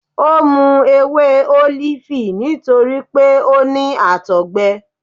O mu ewe olifi nitori pe o ni àtọgbẹ.